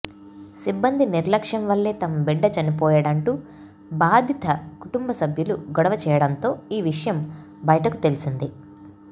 సిబ్బంది నిర్లక్ష్యం వల్లే తమ బిడ్డ చనిపోయాడంటూ బాధిత కుటుంబ సభ్యులు గొడవ చేయడంతో ఈ విషయం బయటకు తెలిసింది